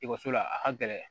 Ekɔliso la a ka gɛlɛn